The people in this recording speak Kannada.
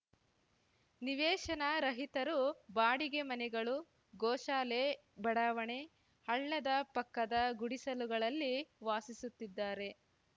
ನಿವೇಶನ ರಹಿತರು ಬಾಡಿಗೆ ಮನೆಗಳು ಗೋಶಾಲೆ ಬಡಾವಣೆ ಹಳ್ಳದ ಪಕ್ಕದ ಗುಡಿಸಲುಗಳಲ್ಲಿ ವಾಸಿಸುತ್ತಿದ್ದಾರೆ